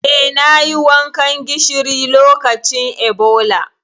Eh, nayi wankan gishiri lokacin Ebola.